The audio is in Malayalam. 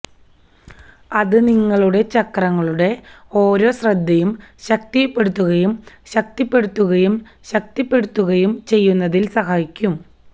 അത് നിങ്ങളുടെ ചക്രങ്ങളുടെ ഓരോ ശ്രദ്ധയും ശക്തിപ്പെടുത്തുകയും ശക്തിപ്പെടുത്തുകയും ശക്തിപ്പെടുത്തുകയും ചെയ്യുന്നതിൽ സഹായിക്കും